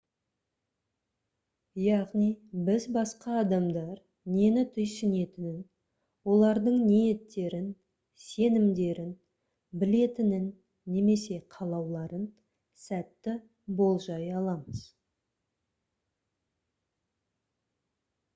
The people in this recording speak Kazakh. яғни біз басқа адамдар нені түйсінетінін олардың ниеттерін сенімдерін білетінін немесе қалауларын сәтті болжай аламыз